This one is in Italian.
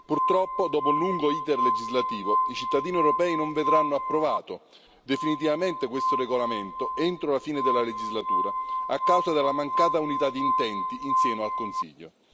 Purtroppo, dopo un lungo iter legislativo, i cittadini europei non vedranno approvato definitivamente questo regolamento entro la fine della legislatura a causa della mancata unità d'intenti in seno al Consiglio.